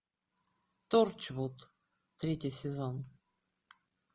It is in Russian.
торчвуд третий сезон